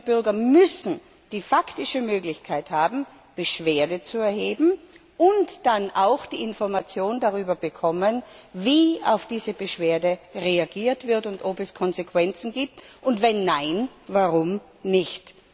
Bürgerinnen und Bürger müssen die faktische Möglichkeit haben, Beschwerde zu erheben, und dann auch die Information darüber bekommen, wie auf diese Beschwerde reagiert wird und ob es Konsequenzen gibt, und wenn nein, warum nicht.